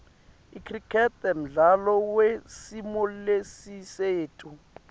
icricket mdlalo wesimolesisetulu